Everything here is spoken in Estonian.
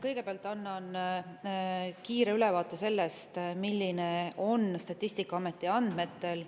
Kõigepealt annan kiire ülevaate sellest, milline on olukord Statistikaameti andmetel.